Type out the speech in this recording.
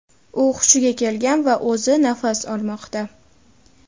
u xushiga kelgan va o‘zi nafas olmoqda.